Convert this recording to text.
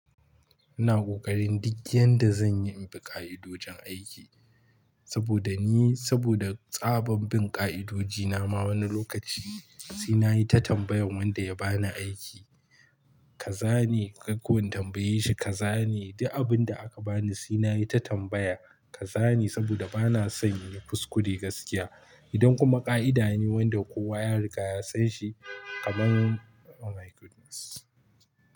Ina ƙoƙarin duk yanda zan yi in bi ƙa'idojin aiki. Saboda ni, saboda tsaban bin ƙa'idoji na ma wani lokaci sai nayi ta tambayan wanda ya bani aiki. Ka zane, kai kuwa in tambaye shi ka zane, duk abin da aka bani sai nayi ta tambaya ka zane saboda bana son yin kuskure gaskiya. Idan kuma ƙa'ida ne wanda kowa ya riga ya san shi kamar Oh my goodness!